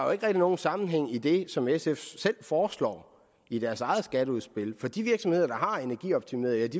rigtig nogen sammenhæng i det som sf foreslår i deres eget skatteudspil for de virksomheder der har energioptimeret